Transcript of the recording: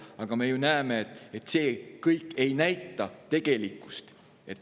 Aga me ju näeme, et see kõik ei näita tegelikkust.